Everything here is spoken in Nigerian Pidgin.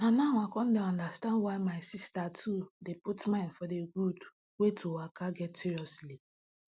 na now i con get why my sister too dey put mind for d gud wey to waka get seriously